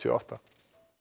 átta